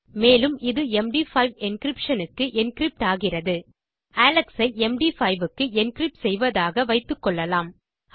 மேலும் இது MD five encryption க்கு என்கிரிப்ட் ஆகிறது அலெக்ஸ் ஐ எம்டி5 க்கு என்கிரிப்ட் செய்வதாக வைத்துக்கொள்ளலாம்